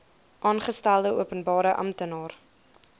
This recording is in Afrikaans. aangestelde openbare amptenaar